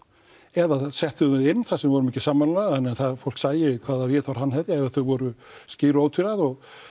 eða settu þau inn þar sem við vorum ekki sammála þannig að fólk sæi hvaða viðhorf hann hefði og þau voru skýr og ótvíræð